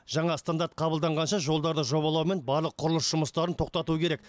жаңа стандарт қабылданғанша жолдарды жобалау мен барлық құрылыс жұмыстарын тоқтату керек